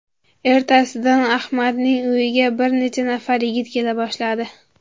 Ertasidan Ahmadning uyiga bir necha nafar yigit kela boshladi.